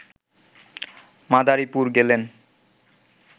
মাদারীপুর গেলেন